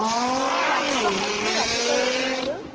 অ, ৰাতিপুৱা খাইছিলো ৰাতিপুৱা ৰুটি খালো